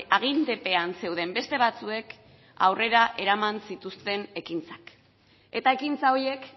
agintepean zeuden beste batzuek aurrera eraman zituzten ekintzak eta ekintza horiek